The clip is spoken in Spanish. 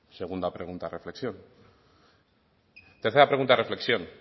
segunda pregunta reflexión tercera pregunta reflexión